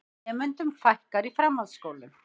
Nemendum fækkar í framhaldsskólum